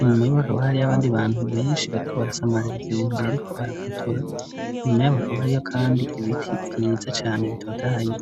inyuma y'bo akaba hari yo abandi bantu benshi bariko barasamaririza ibintu by, ariko arafotora inyuma y'abakabo hariyo, kandi ibiti vyiza cane tota hayi.